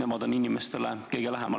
Nemad on ju inimestele kõige lähemal.